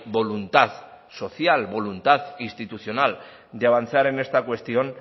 voluntad social voluntad institucional de avanzar en esta cuestión